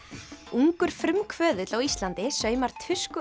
ungur frumkvöðull á Íslandi saumar